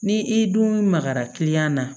Ni i dun ma magara kiliyan na